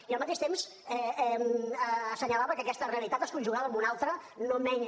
i al mateix temps assenyalava que aquesta realitat es conjugava amb una altra no menys